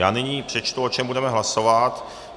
Já nyní přečtu, o čem budeme hlasovat.